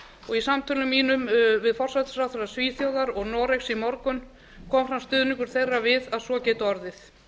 og í samtölum mínum við forsætisráðherra svíþjóðar og noregs í morgun kom fram stuðningur þeirra við að svo gæti orðið